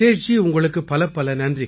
நிதேஷ் குப்தா ரொம்ப நன்றிங்கய்யா